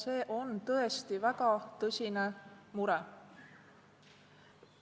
See on tõesti väga tõsine mure.